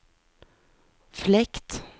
fläkt